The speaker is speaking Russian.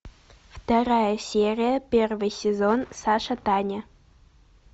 вторая серия первый сезон саша таня